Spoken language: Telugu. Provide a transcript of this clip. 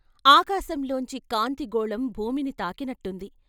ఆకాశంలోంచి కాంతి గోళం భూమిని తాకినట్టుంది.